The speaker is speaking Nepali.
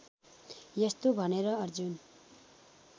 यस्तो भनेर अर्जुन